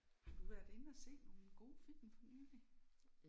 Har du været inde og se nogle gode film for nylig?